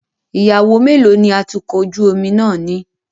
Ìyàwó mélòó ni atukọ̀ ojú omi náà ní?